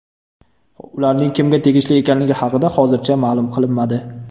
Ularning kimga tegishli ekanligi haqida hozircha ma’lum qilinmadi.